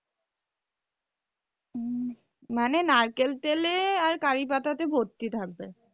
উম মানে নারকেল তেলে আর curry পাতাতে ভর্তি থাকবে।